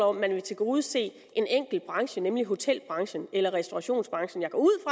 om at man vil tilgodese en enkelt branche nemlig hotelbranchen eller restaurationsbranchen jeg går ud